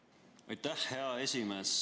Aitäh, hea esimees!